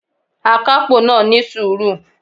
Akápò náà ní sùúrù